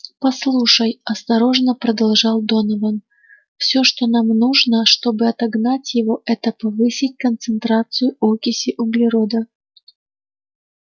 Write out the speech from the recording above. послушай осторожно продолжал донован все что нам нужно чтобы отогнать его это повысить концентрацию окиси углерода